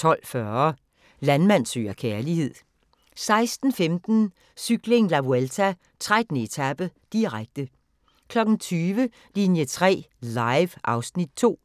12:40: Landmand søger kærlighed 16:15: Cykling: La Vuelta - 13. etape, direkte 20:00: Linie 3 Live (Afs. 2)